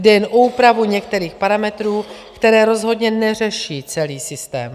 Jde jen o úpravu některých parametrů, které rozhodně neřeší celý systém.